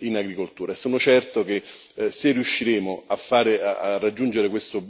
in agricoltura.